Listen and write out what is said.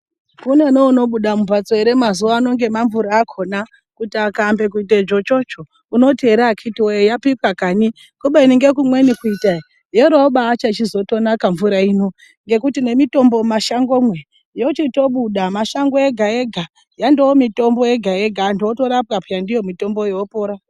Kune neunobuda mumhatso ere mazuwa ano ngemamvura akhona Kuti akaambe kuite dzvotsvotsvo unoti ere akiti woye yapikwa kani kubeni ngekumweni kuita e yoro yochizotnaka pemvura ino nemitombo mumashangomwo yochitobuda mashango ega ega yandoomitombo yega yega antu otorapwa pee ndiyo mitomboyo opora.